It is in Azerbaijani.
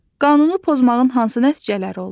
Qanunu pozmağın hansı nəticələri olur?